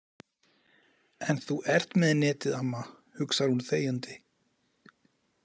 En þú ert með netið, amma, hugsar hún þegjandi.